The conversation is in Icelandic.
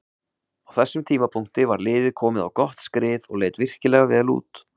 Á þessum tímapunkti var liðið komið á gott skrið og leit virkilega vel út.